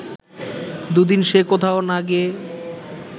দু’দিন সে কোথাও না গিয়ে